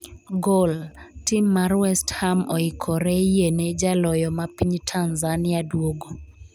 (Gol) tim mar west ham oikore yiene jaloyo ma piny Tanzania duogo